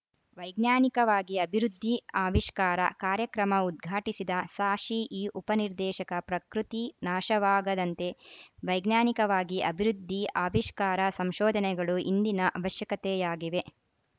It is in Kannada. ವೈಜ್ಞಾನಿಕವಾಗಿ ಅಭಿವೃದ್ಧಿ ಆವಿಷ್ಕಾರ ಕಾರ್ಯಕ್ರಮ ಉದ್ಘಾಟಿಸಿದ ಸಾಶಿಇ ಉಪ ನಿರ್ದೇಶಕ ಪ್ರಕೃತಿ ನಾಶವಾಗದಂತೆ ವೈಜ್ಞಾನಿಕವಾಗಿ ಅಭಿವೃದ್ಧಿ ಆವಿಷ್ಕಾರ ಸಂಶೋಧನೆಗಳು ಇಂದಿನ ಅವಶ್ಯಕತೆಯಾಗಿವೆ